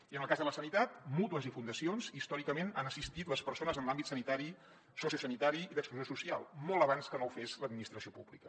i en el cas de la sanitat mútues i fundacions històricament han assistit les persones en els àmbits sanitari sociosanitari i d’exclusió social molt abans que no ho fes l’administració pública